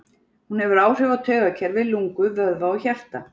Hún hefur áhrif á taugakerfi, lungu, vöðva og hjarta.